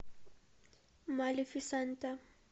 малефисента